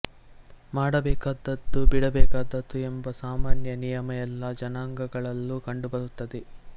ಮಾಡಬೇಕಾದದ್ದು ಬಿಡಬೇಕಾದದ್ದು ಎಂಬ ಸಾಮಾನ್ಯ ನಿಯಮ ಎಲ್ಲ ಜನಾಂಗಗಳಲ್ಲೂ ಕಂಡುಬರುತ್ತದೆ